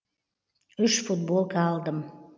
үш футболка алдым